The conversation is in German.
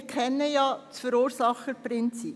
Wir kennen ja das Verursacherprinzip.